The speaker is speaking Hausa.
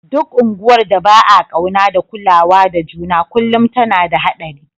Duk unguwar da ba'a kauna da kulawa da juna kullum tana da hadari.